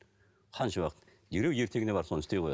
қанша уақыт дереу ертеңіне барып соны істей қояды